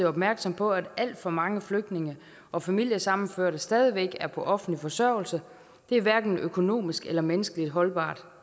opmærksom på at alt for mange flygtninge og familiesammenførte stadig væk er på offentlig forsørgelse det er hverken økonomisk eller menneskeligt holdbart